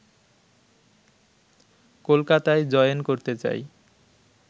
কলকাতায় জয়েন করতে যাই